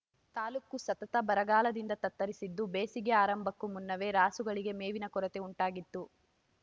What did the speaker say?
ತಾಲ್ಲೂಕು ಸತತ ಬರಗಾಲದಿಂದ ತತ್ತರಿಸಿದ್ದು ಬೇಸಿಗೆ ಆರಂಭಕ್ಕೂ ಮುನ್ನವೇ ರಾಸುಗಳಿಗೆ ಮೇವಿನ ಕೊರತೆ ಉಂಟಾಗಿದ್ದು